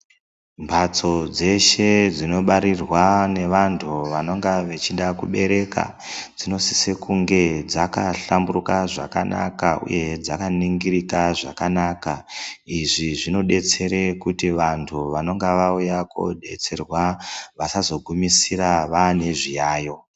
Mbatso dzeshe dzinobarirwa nevantu vanenge vechida kubereka dzinosise kunge dzaka hlamburuka zvakanaka uye dzakaningirika zvakanaka izvi zvinodetsere kuti vantu vanonga vauya koodetserwa vasazogumisira vane zviyayiyo.